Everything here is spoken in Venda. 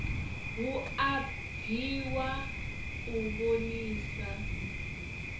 hu a bviwa u vhonisa